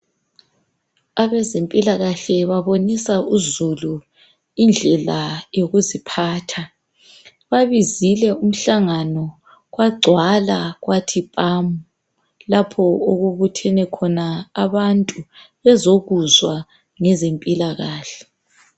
Abezempilakahle babonisa uzulu indlela yokuziphatha. Babizile umhlangano kwagcwala kwathi phamu, lapho okubuthene khona abantu bezokuzwa ngezempilakahle.